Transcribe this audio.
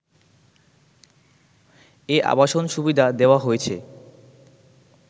এ আবাসন সুবিধা দেওয়া হয়েছে